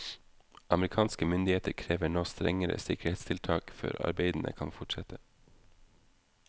Amerikanske myndigheter krever nå strengere sikkerhetstiltak før arbeidene kan fortsette.